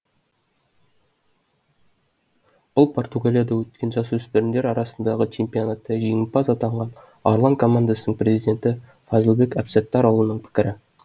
бұл португалияда өткен жасөспірімдер арасындағы чемпионатта жеңімпаз атанған арлан командасының президенті фазылбек әбсаттарұлының пікірі